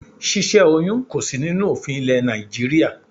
Ṣíṣẹ́ oyún kò sí nínú òfin ilé Nàìjíríà.